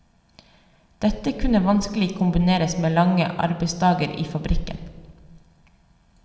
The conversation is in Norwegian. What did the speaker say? Dette kunne vanskelig kombineres med lange arbeidsdager i fabrikken.